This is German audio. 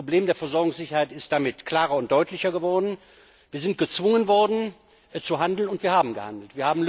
Das Problem der Versorgungssicherheit ist damit klarer und deutlicher geworden. Wir sind gezwungen worden zu handeln, und wir haben gehandelt.